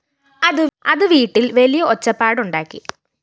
അത് വീട്ടിൽ വലിയ ഒച്ചപ്പാടുണ്ടാക്കി